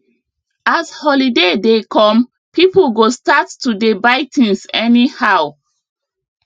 as holiday dey come people go start to dey buy things anyhow